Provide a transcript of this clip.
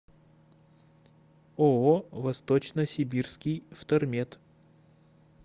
ооо восточно сибирский втормет